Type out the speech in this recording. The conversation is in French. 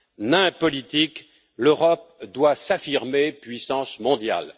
Nain politique, l'Europe doit s'affirmer puissance mondiale.